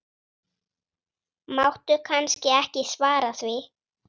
Máttu kannski ekki svara því?